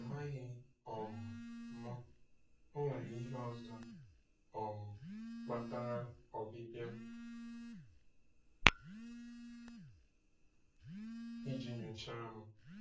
Amaghị um m, o nwere ihe ọzọ um kpatara ọbịbịa - iji nyochaa m.